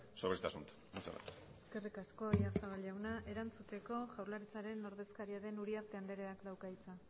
sobre este asunto muchas gracias eskerrik asko oyarzabal jauna erantzuteko jaurlaritzaren ordezkaria den uriarte andreak dauka hitza